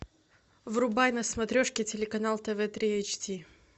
врубай на смотрешке телеканал тв три эйч ди